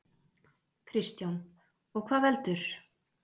Kristján: Og hvað veldur?